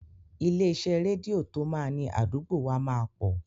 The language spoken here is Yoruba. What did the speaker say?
Ilé iṣẹ́ rédíò tó máa ni àdúgbò wa máa pọ̀.